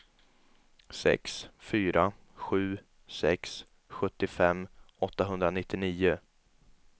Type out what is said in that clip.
sex fyra sju sex sjuttiofem åttahundranittionio